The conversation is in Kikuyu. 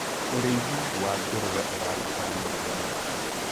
ũrĩithi wa ngũrwe ũrabatara mũrĩre mwega